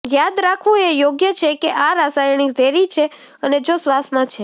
યાદ રાખવું એ યોગ્ય છે કે આ રાસાયણિક ઝેરી છે અને જો શ્વાસમાં છે